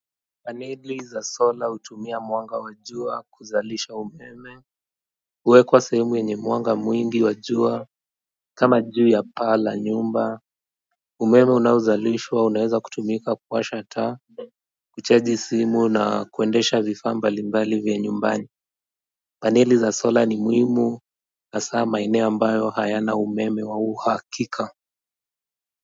Paneli za sola hutumia mwanga wa jua kuzalisha umeme huwekwa sehemu yenye mwanga mwingi wa jua kama juu ya paa la nyumba umeme unaozalishwa unaeza kutumika kuwasha taa kuchaji simu na kuendesha vifaa mbali mbali vya nyumbani. Paeili za sola ni muhimu hasa maeneo ambayo hayana umeme wa uhakika.